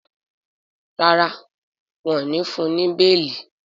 ràrá wón ní fún ní beeli.